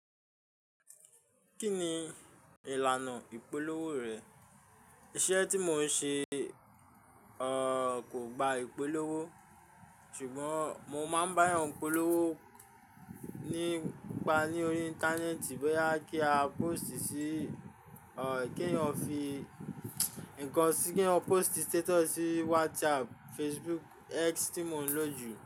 Kí ni ìlànà ìpolówó rẹ̀? Iṣẹ́ tí mò ń ṣe, ọ, kò gba ìpolówó ṣùgbọ́n mo máa ń bá eéyàn polówó nípa ní orí Íńtánẹ́ẹ̀tì bóyá kí a pósìtì sí, ọ, kí èèyàn fi ǹkan sí, kí wọ́n pósìtì stétọ̀sì sí WhatsApp, Facebook, X tí mò ń lò jù.